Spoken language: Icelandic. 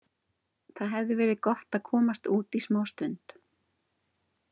Það hefði verið gott að komast út í smástund.